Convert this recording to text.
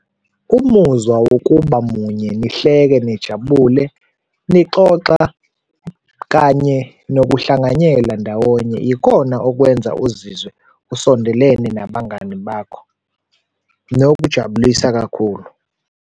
Umuzwa wokuba munye, nihleke, nijabule, nixoxa kanye nokuhlanganyela ndawonye yikona okwenza uzizwe usondelene nabangani bakho, nokujabulisa kakhulu.